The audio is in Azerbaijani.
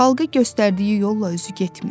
Xalqa göstərdiyi yolla özü getmir.